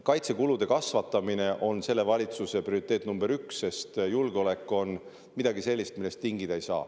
Kaitsekulude kasvatamine on selle valitsuse prioriteet, sest julgeolek on midagi sellist, milles tingida ei saa.